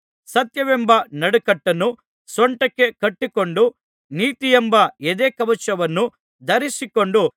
ಸತ್ಯವೆಂಬ ನಡುಕಟ್ಟನ್ನು ಸೊಂಟಕ್ಕೆ ಕಟ್ಟಿಕೊಂಡು ನೀತಿಯೆಂಬ ಎದೆಕವಚವನ್ನು ಧರಿಸಿಕೊಂಡು